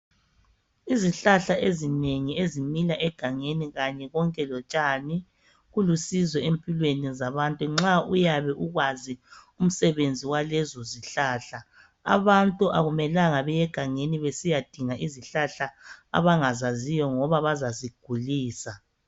Izihlahla ezinengi ezimila egangeni kanye konke lotshani, kulusizo empilweni zabantu nxa uyabe ukwazi umsebenzi walezo zihlahla. Abantu akumelanga beye egangeni besiyadinga izihlahla abangazaziyo ngoba bazazigulisa.